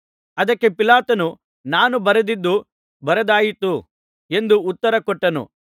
ಅದಕ್ಕೆ ಪಿಲಾತನು ನಾನು ಬರೆದದ್ದು ಬರೆದಾಯಿತು ಎಂದು ಉತ್ತರ ಕೊಟ್ಟನು